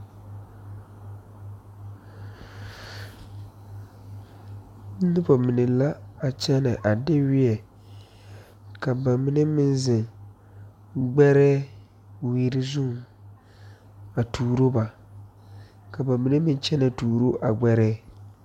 Nobɔ mine la a kyɛne a de weɛ ka ba mine meŋ zeŋ gbɛrɛɛ wiri zuŋ a tuuro ba ka ba mine meŋ kyɛnɛ tuuroo a gbɛre.